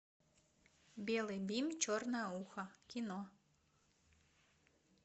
белый бим черное ухо кино